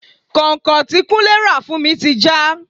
Kọ́nkọ̀n tí kúnlé ra fún mi ti já.